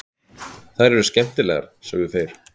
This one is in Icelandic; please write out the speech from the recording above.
Þær eru skemmtilegar, sögðu þeir.